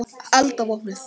Alda vopnuð!